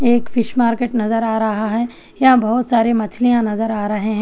एक fish market नजर आ रहा है यहाँ बहोत सारे मछलियां नजर आ रहे हैं।